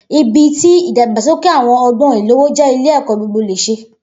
Ibi ti idagbasoke awọn ọgbọn ilowo jẹ ile ẹkọ gbogbo lésè